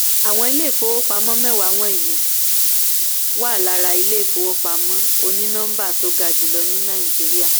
àwọn ilé-ifowópamọ́ mẹ́wàá wọ̀nyí wọ̀nyí wà lára ilé-ifowópamọ́ onínọmbà tó ga jùlọ ní nàìjíríà.